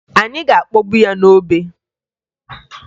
Anyị ga-akpọgbu ya n'obe